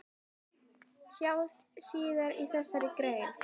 Sjá síðar í þessari grein.